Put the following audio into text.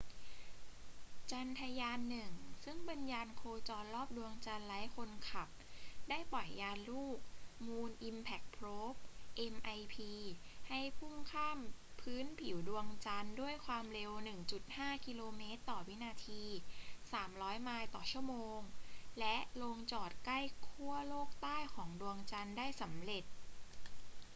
จันทรายาน-1 ซึ่งเป็นยานโคจรรอบดวงจันทร์ไร้คนขับ ได้ปล่อยยานลูก มูน อิมแพ็ค โพรบ mip ให้พุ่งข้ามพื้นผิวดวงจันทร์ด้วยความเร็ว 1.5 กิโลเมตรต่อวินาที 3,000 ไมล์ต่อชั่วโมง และลงจอดใกล้ขั้วโลกใต้ของดวงจันทร์ได้สำเร็จ